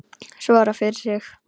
Svara fyrir sig.